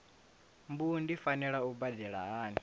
mbu ndi fanela u badela hani